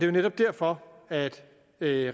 jo netop derfor at det